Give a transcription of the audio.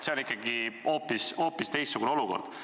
See on ikkagi hoopis teistsugune olukord.